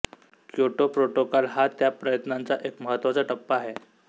Kyoto protocol हा त्या प्रयत्नांचा एक महत्त्वाचा टप्पा आहे